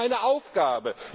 Das ist nicht meine Aufgabe.